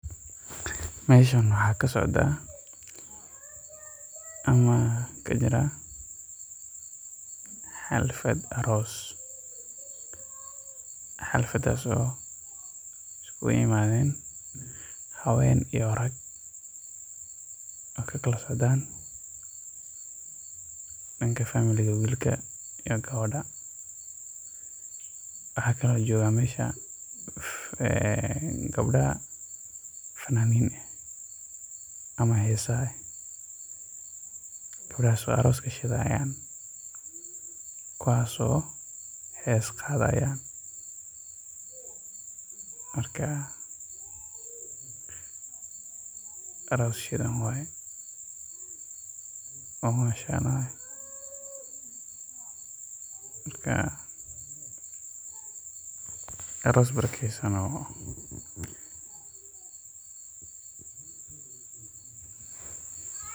Meeshan waxaa kasocda ama kajira xalfad aroos, oo iskugu imaden habeen iyo rag, danka wilka iyo gabada, waxaa jooga gabdha fananiin ah, kuwaas oo hees qaadayan, aroos shidan waye, aroos barakeesan.